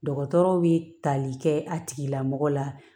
Dɔgɔtɔrɔw bɛ tali kɛ a tigilamɔgɔ la